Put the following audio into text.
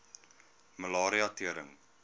malaria tering